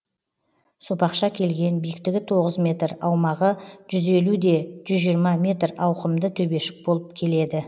сопақша келген биіктігі тоғыз метр аумағы жүз елу де жүз жиырма метр ауқымды төбешік болып келеді